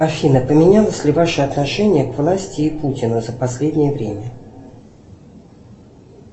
афина поменялось ли ваше отношение к власти и путину за последнее время